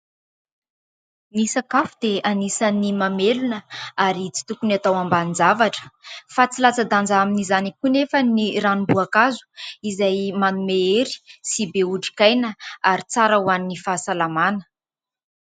Ny sakafo dia anisan' ny mamelona ary tsy tokony atao ambanin-javatra fa tsy latsa-danja amin' izany koa anefa ny ranom-boankazo izay manome hery sy be otrikaina ary tsara ho an' ny fahasalamana.